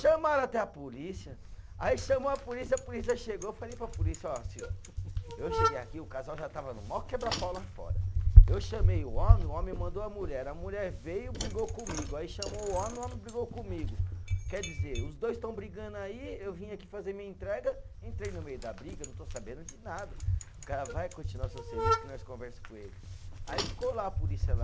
Chamaram até a polícia, aí chamou a polícia, a polícia chegou, eu falei para a polícia, ó senhor, eu cheguei aqui, o casal já estava no maior quebra pau lá fora, eu chamei o homem, o homem mandou a mulher, a mulher veio, brigou comigo, aí chamou o homem, o homem brigou comigo, quer dizer, os dois estão brigando aí, eu vim aqui fazer minha entrega, entrei no meio da briga, não estou sabendo de nada, o cara vai continuar seu serviço, que nós conversa com eles, aí ficou lá a polícia lá,